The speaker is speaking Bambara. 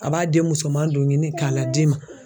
A b'a den musoman don ɲini k'a lad'i ma